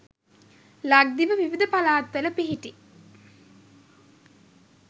ලක්දිව විවිධ පළාත්වල පිහිටි